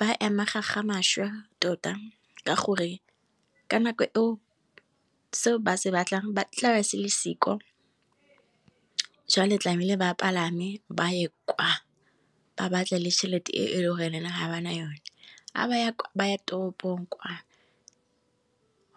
ba amega ga mašwa tota, ka gore ka nako seo ba se batlang ba tla se le siko jwale tlamele ba palame ba ye kwa ba batla le chelete e le gore ha ba na yone, ha ba ya toropong kwa